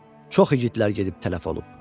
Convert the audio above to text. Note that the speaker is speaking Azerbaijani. Çox igidlər gedib tələf olub.